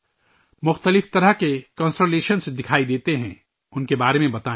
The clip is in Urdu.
مختلف قسم کے برج دکھائی دیتے ہیں، ان کے بارے میں بتائیں